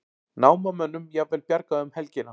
Námamönnum jafnvel bjargað um helgina